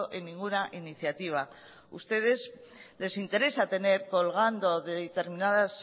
en ninguna iniciativa ustedes les interesa tener colgando determinadas